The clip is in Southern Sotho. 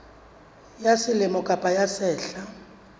ya selemo kapa ya sehla